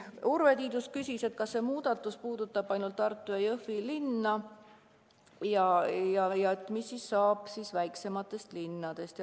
Urve Tiidus küsis, kas see muudatus puudutab ainult Tartut ja Jõhvit ja mis saab väiksematest linnadest.